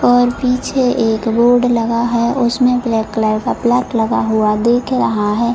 और पीछे एक बोर्ड लगा है उसमे ब्लैक कलर का प्लग लगा हुआ दिख रहा है।